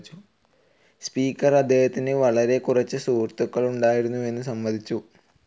Speaker അദ്ദേഹത്തിന് വളരെ കുറച്ച് സുഹൃത്തുക്കളുണ്ടായിരുന്നുവെന്ന് സമ്മതിച്ചു.